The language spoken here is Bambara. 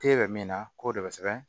K'e bɛ min na k'o de bɛ sɛbɛn